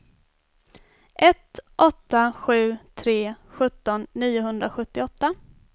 ett åtta sju tre sjutton niohundrasjuttioåtta